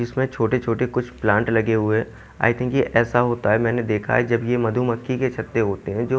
इसमें छोटे-छोटे कुछ प्लांट लगे हुए हैं आई थिंक ये ऐसा होता है मैंने देखा है जब ये मधुमक्खी के छत्ते होते हैं जो--